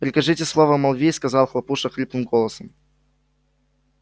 прикажите слово молвить сказал хлопуша хриплым голосом